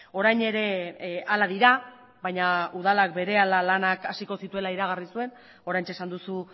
orain ere hala dira baina udalak berehala lanak hasiko zituela iragarri zuen oraintxe esan duzu